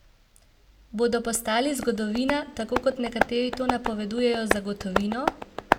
Bodo postali zgodovina, tako kot nekateri to napovedujejo za gotovino?